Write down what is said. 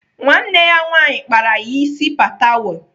Nwanne ya nwaanyị kpara ya ịsị patewo.